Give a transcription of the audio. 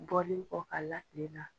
Bɔlenkɔ a la tilen na.